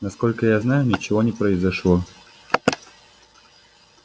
насколько я знаю ничего не произошло